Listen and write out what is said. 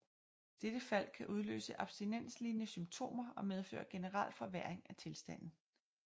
Dette fald kan udløse abstinenslignende symptomer og medføre generel forværring af tilstanden